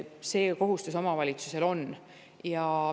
See kohustus omavalitsusel on.